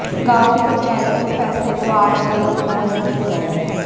गांव की पंचायत के उस फैसले को आज कई बरस बीत गए हैं